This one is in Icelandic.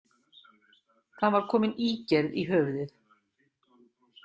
Það var komin ígerð í höfuðið.